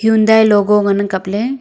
hyundai logo ngan ang kapley.